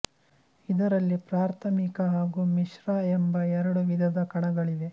ಇದರಲ್ಲಿ ಪ್ರಾಥಮಿಕ ಹಾಗೂ ಮಿಶ್ರ ಎಂಬ ಎರಡು ವಿಧದ ಕಣಗಳಿವೆ